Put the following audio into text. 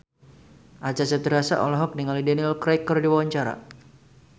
Acha Septriasa olohok ningali Daniel Craig keur diwawancara